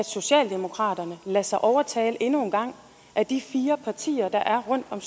socialdemokraterne lader sig overtale endnu engang af de fire partier der er rundt om